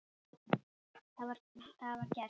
Það var gert.